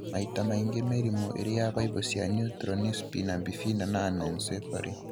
Maita maingĩ mĩrimũ ĩrĩ ya baibũ cia neural nĩ spina bifida na anencephaly.